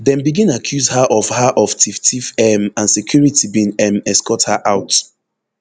dem begin accuse her of her of tifftiff um and security bin um escort her out